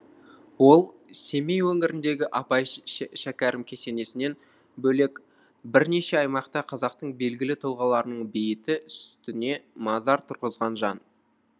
ол семей өңіріндегі абай шәкәрім кесенесінен бөлек бірнеше аймақта қазақтың белгілі тұлғаларының бейіті үстіне мазар тұрғызған жан